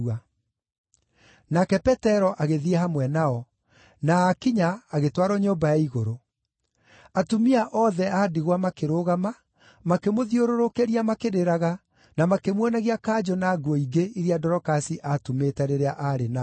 Nake Petero agĩthiĩ hamwe nao, na aakinya agĩtwarwo nyũmba ya igũrũ. Atumia othe a ndigwa makĩrũgama, makĩmũthiũrũrũkĩria makĩrĩraga, na makĩmuonagia kanjũ na nguo ingĩ iria Dorokasi aatumĩte rĩrĩa aarĩ nao.